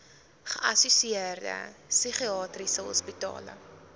geassosieerde psigiatriese hospitale